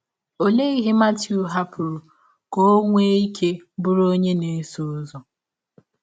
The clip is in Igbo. Ọlee ihe Matiụ hapụrụ ka ọ nwee ike bụrụ ọnye na - esọ ụzọ?